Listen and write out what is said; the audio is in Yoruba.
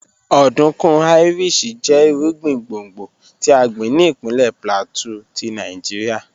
Ọdunkun Irish jẹ irugbin gbongbo ti a gbin ni ipinlẹ Plateau ti Nigeria